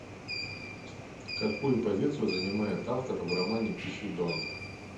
какую позицию занимает автор в романе тихий дон